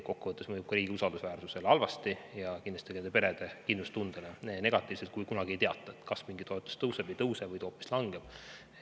Kokku võttes mõjub ka riigi usaldusväärsusele halvasti ja kindlasti ka perede kindlustundele negatiivselt see, kui kunagi ei teata, kas mingi toetus tõuseb või ei tõuse, äkki hoopis langeb.